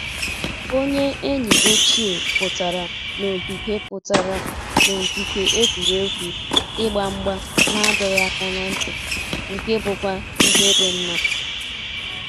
Onye enyi ochie pụtara na ogige pụtara na ogige egwuregwu ịgba mgba na adọghị aka na ntị, nke bụkwa ihe dị mma